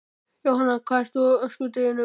Jóhanna: Hvað ert þú á öskudeginum?